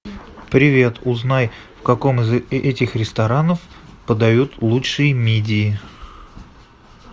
привет узнай в каком из этих ресторанов подают лучшие мидии